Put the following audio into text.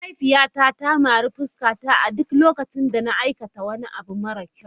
Mahaifiyata ta mari fuskata a duk lokacin da na aikata wani abu mara kyau.